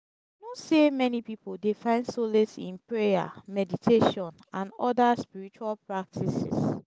who say many people dey find solace in prayer meditation and oda spiritual practices.